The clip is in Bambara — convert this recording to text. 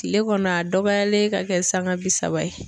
Kile kɔnɔ a dɔgɔyalen ka kɛ sanga bi saba ye